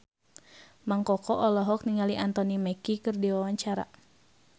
Mang Koko olohok ningali Anthony Mackie keur diwawancara